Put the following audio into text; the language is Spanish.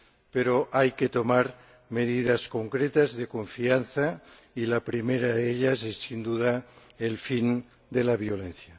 Pero hay que tomar medidas concretas de confianza, y la primera de ellas es, sin duda, el fin de la violencia.